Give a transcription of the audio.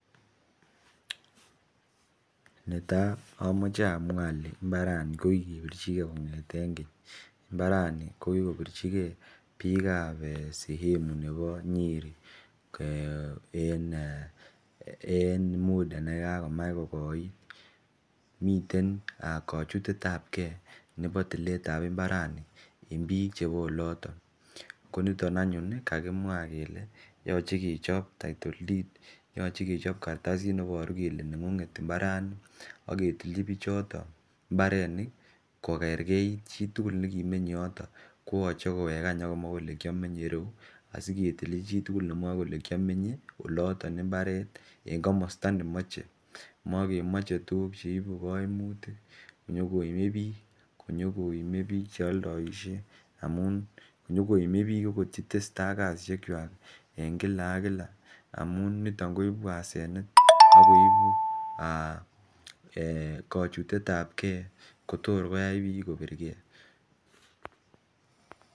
Netai amache amwa ale imbarani kokikepirchike kong'eten keny mabrani kokikepirchike bikab sehemu nebo nyeri eh en muda nebo nekakomuch kokoiit miten kochutetab ke nebo tiletab imbaranien biik chebo oloto konito anyuun kakimwa kele yoche kechob titile deed yoche kechob kartasit neboru kele neng'ung'et imbarani aketilchi bichoto imbarenik kokerkeit chitugul nekimenye yoto koyoche kowek akomwa kole kiamenye ireu asiketilchi chitugul nemwae kole kiamenye ireu en komosto nemoche , mokemoche tuguk cheibu koimutik cheimebik chealdaishe amuun inyokoime biik akot chetesetai ak kasisiekwak en Kila ak Kila amuun nito koibu asenet eh kochutetab ke Kotor koyai bik kobirge